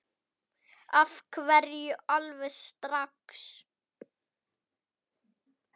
Af hverju alveg strax?